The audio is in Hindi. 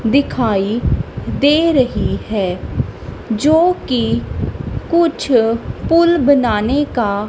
दिखाई दे रही है जो कि कुछ पुल बनाने का--